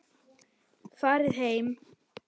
Farið heim!